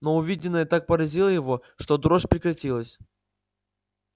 но увиденное так поразило его что дрожь прекратилась